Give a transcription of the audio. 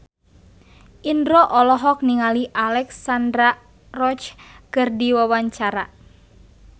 Indro olohok ningali Alexandra Roach keur diwawancara